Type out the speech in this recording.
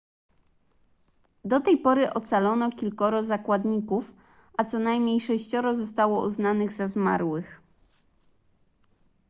do tej pory ocalono kilkoro zakładników a co najmniej sześcioro zostało uznanych za zmarłych